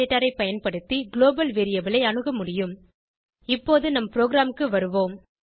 ஐ பயன்படுத்தி global variable ஐ அணுக முடியும் இப்போது நம் ப்ரோகிராமுக்கு வருவோம்